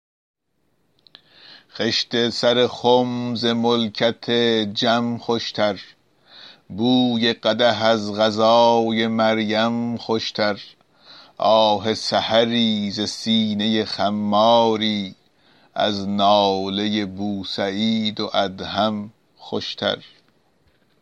خشت سر خم ز ملکت جم خوشتر بوی قدح از غذای مریم خوشتر آه سحری ز سینه خماری از ناله بوسعید و ادهم خوشتر